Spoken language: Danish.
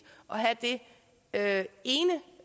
at